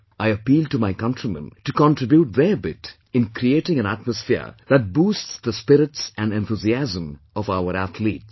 I appeal to my countrymen to contribute their bit in creating an atmosphere that boosts the spirits and enthusiasm of our athletes